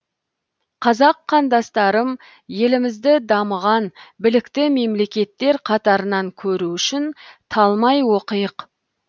қазақ қандастарым елімізді дамыған білікті мемлекеттер қатарынан көру үшін талмай оқиық